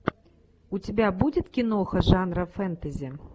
у тебя будет киноха жанра фэнтези